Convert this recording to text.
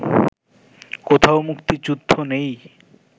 কোথাও মুক্তিযুদ্ধ নেই